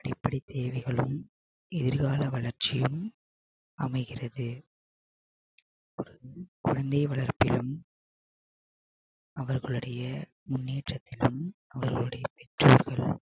அடிப்படை தேவைகளும் எதிர்கால வளர்ச்சியும் அமைகிறது குழந்தை வளர்ப்பிலும் அவர்களுடைய முன்னேற்றத்திலும் அவர்களுடைய பெற்றோர்கள்